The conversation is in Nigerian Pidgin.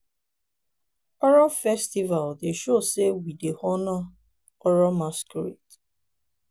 we dey use argungu festival to show sey fish dey important to our economy.